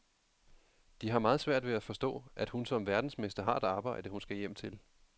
De har meget svært ved at forstå, at hun som verdensmester har et arbejde, hun skal hjem til.